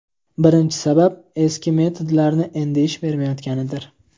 Birinchi sabab: Eski metodlarning endi ish bermayotganidir.